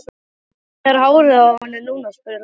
Hvernig er hárið á henni núna? spurði Lalli.